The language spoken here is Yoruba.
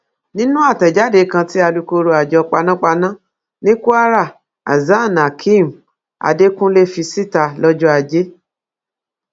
nínú àtẹjáde kan tí alūkkoro àjọ panápaná ni kwara hasanhakeem adekunle fi síta lọjọ ajé